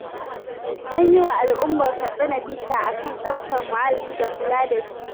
An yi wa al'ummar Katsina bita a kan tsaftar muhalli da kula da shi